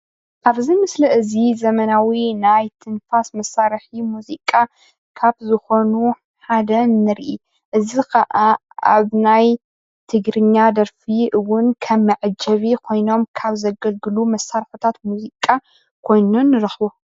ኣብዚ ምስሊ እዚ ዘመናዊ ናይ ትንፋስ መሳርሒ ሙዚቃ ካብ ዝኮኑ ሓደ ንርኢ። እዚ ካዓ ኣብ ናይ ትግርኛ ደርፊ እውን ከም መዐጀቢ ኮይኖም ካብ ዘገልግሉ መሳርሕታት ሙዚቃ ኮይኑ ንረክቦ